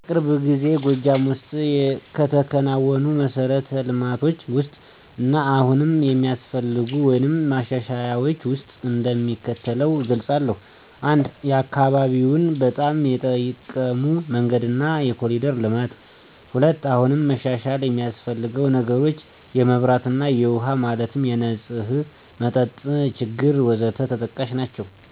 በቅርብ ጊዜ ጎጃም ወስጥ ከተከናወኑ መሠረት ልማቶች ውስጥ እና አሁንም የሚያስፈልጉን ወይም ማሻሻያዎች ውስጥ እንደሚከተለው እገልፃለሁ። 1, አካባቢውን በጣም የጠቀመው፦ መንገድና የኮሪደር ልማት። 2, አሁንም መሻሻል የሚስፈልገው ነገሮች፦ የመብራት እና የውሃ ማለትም የነፅህ መጠጥ ችግር...... ወዘተ ተጠቃሽ ናችው።